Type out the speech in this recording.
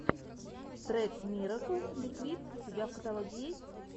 трек мирэкл ликвид у тебя в каталоге есть